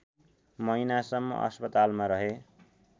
महिनासम्म अस्पतालमा रहे